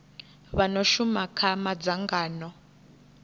vha no shuma kha madzangano